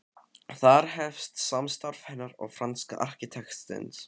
Þar hefst samstarf hennar og franska arkitektsins